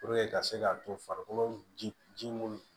ka se k'a to farikolo ji munnu